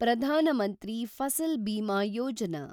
Pradhan Mantri Fasal Bima Yojana